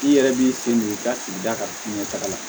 I yɛrɛ b'i sen don i ka k'i da ka fiɲɛ taga la